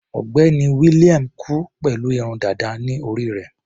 Ọ̀gbẹ́ni William kú pẹ̀lú irun dàda ní orí rẹ̀.